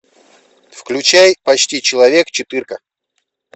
включай почти человек четырка